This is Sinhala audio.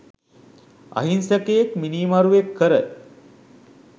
අහිංසකයෙක්‌ මිනීමරුවෙක්‌ කර